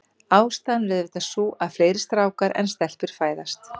Ástæðan er auðvitað sú, að fleiri strákar en stelpur fæðast.